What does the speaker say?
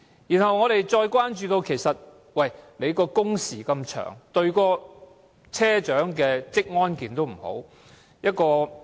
此外，我們關注到工時那麼長，不利車長的職安健。